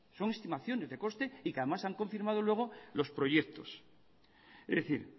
son estimaciones de coste y que además se han confirmado luego los proyectos es decir